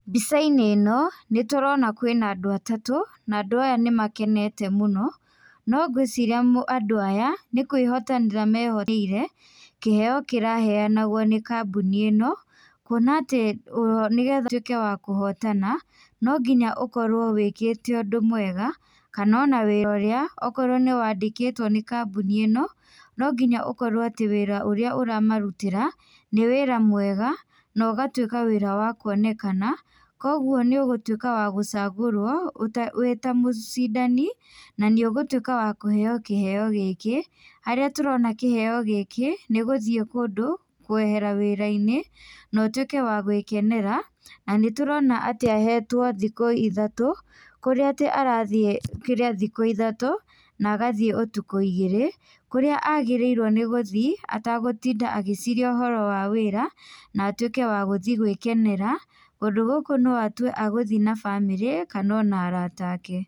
Mbica-inĩ ĩ no nĩtũrona kwĩna andũ atatũ, na andũ aya nĩmakenete mũno. No ngwĩciria andũ aya nĩ kwĩhotanĩra mehotanĩire kĩheo kĩraheanagwo nĩ kambuni ĩ no, kũona atĩ nĩgetha ũtuĩke wa kũhotana no nginya ũkorwo wĩkĩte ũndũ mwega kana o na wĩra ũrĩa ũkorwo nĩ wandĩkĩtwo nĩ kambuni ĩno, no ngĩnya ũkorwo atĩ wĩra ũrĩa ũramarutĩra nĩ wĩra mwega, na ũgatuĩka wĩra wakuonekana kogwo nĩ ũgũtũĩka wa gũcagũrwo wĩ ta mũcindani na nĩ ũgũtũĩka wa kũheo kĩheo gĩkĩ, harĩa tũrona kĩheo gĩkĩ nĩ gũthiĩ kũndũ kwehera wĩra-inĩ na ũtũĩke wa gwĩkenera na nĩtũrona atĩ ahetwo thikũ ithatũ kũrĩa atĩ arathiĩ thikũ ithatũ na agathiĩ ũtũkũ igĩrĩ. Kũrĩa agĩrĩirwo nĩ gũthiĩ tagũtinda agĩciria ũhoro wa wĩra na atuĩke wa gũthiĩ gwĩkenera. Kũndũ gũkũ no atue egũthiĩ na bamĩrĩ kana ona arata ake.